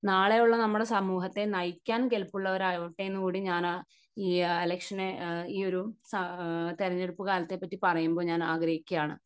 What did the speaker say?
നാളെയുള്ള നമ്മുടെ സമൂഹത്തെ നയിക്കാൻ നയിക്കാൻ കെൽപ്പുള്ളവരാകട്ടെ എന്നുകൂടി ഞാൻ ഈ ഇലക്ഷനെ ഈയൊരു തെരഞ്ഞെടുപ്പ് കാലത്തെ പറ്റി പറയുമ്പോൾ ഞാൻ ആഗ്രഹിക്കുകയാണ്.